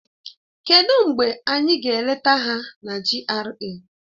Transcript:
Kedụ mgbe anyị ga-eleta ha na GRA?